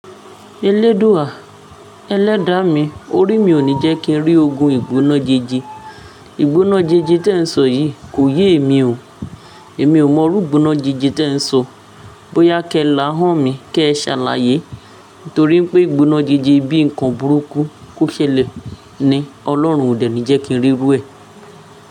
Elédùà, ẹlẹ́dàá mi, orí mi ò ní jẹ́ kí n rí ogun ìgbóná jeje. Ìgbóná jẹje tí ẹ ń sọ yìí kò yé emi o. Èmi ò mọ irú ìgbóná jẹje tí ẹ ń sọ. Bóyá kẹ l'ahán mi kẹ ṣ'alàyé. Nítorí pé ìgbóná jẹje bíi nǹkan burúkú kó ṣẹlẹ̀ ni, Ọlọ́run òdẹ̀ ni jẹ́ kí n rí rú ẹ.